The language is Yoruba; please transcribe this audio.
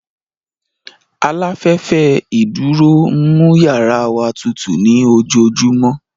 Aláfẹ́fẹ́ ìdúró ń mú yàrá wa tutù ní ojoojúmọ́